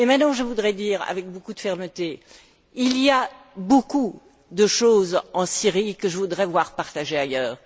Je voudrais dire avec beaucoup de fermeté qu'il y a beaucoup de choses en Syrie que je voudrais voir partager ailleurs.